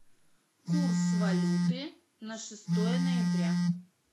курс валюты на шестое ноября